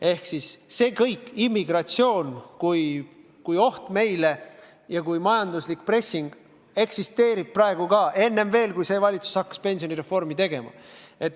Ehk siis kõik see, immigratsioon kui oht ja kui majanduslik pressing, eksisteerib juba praegu, veel enne, kui see valitsus hakkas pensionireformi tegema.